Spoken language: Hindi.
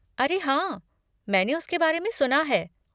अरे हाँ, मैंने उसके बारे में सुना है।